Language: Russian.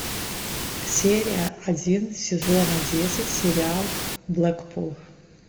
серия один сезона десять сериал блэкпул